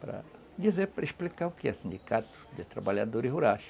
para dizer, para explicar o que é sindicato de trabalhadores rurais.